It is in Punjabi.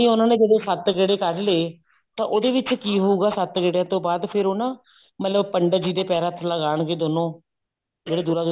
ਉਹਨਾ ਨੇ ਜਦੋਂ ਸੱਤ ਗੇੜੇ ਕੱਢ ਲਏ ਤੇ ਉਹਦੇ ਵਿੱਚ ਕੀ ਹੋਊਗਾ ਸੱਤ ਗੇੜਿਆਂ ਤੋਂ ਬਾਅਦ ਨਾ ਮਤਲਬ ਪੰਡਿਤ ਜੀ ਦੇ ਪੈਰਾ ਹੱਥ ਲਗਾਨਗੇ ਦੋਨੋਂ ਜਿਹੜੇ ਦੁਲਹਾ ਦੁਲਹਨ